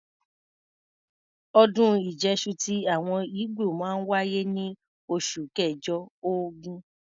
Ọdún Ìjẹ́ṣu ti àwọn ígbò máa ń wáyé ní oṣù kẹ̀jọ(ògún).